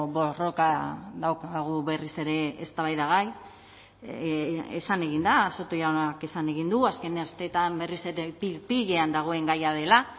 borroka daukagu berriz ere eztabaidagai esan egin da soto jaunak esan egin du azken asteetan berriz ere pil pilean dagoen gaia dela